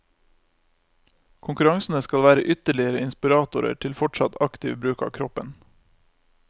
Konkurransene skal være ytterligere inspiratorer til fortsatt aktiv bruk av kroppen.